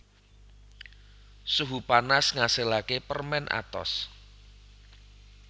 Suhu panas ngasilaké permèn atos